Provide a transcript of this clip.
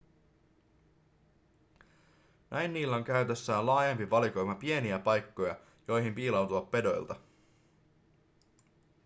näin niillä on käytössään laajempi valikoima pieniä paikkoja joihin piiloutua pedoilta